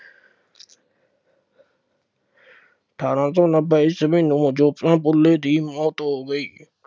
ਅਠਾਰਾਂ ਸੌ ਨੱਬੇ ਈਸਵੀ ਨੂੰ ਜੋਤੀਬਾ ਫੂਲੇ ਦੀ ਮੌਤ ਹੋ ਗਈ।